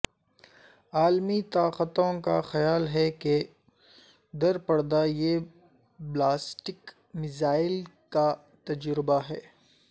عالمی طاقتوں کا خیال ہے کہ در پردہ یہ بلاسٹک میزائل کا تجربہ ہے